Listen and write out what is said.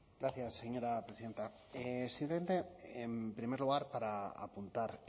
gracias señora presidenta simplemente en primer lugar para apuntar